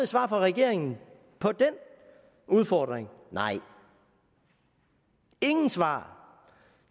svar fra regeringen på den udfordring nej ingen svar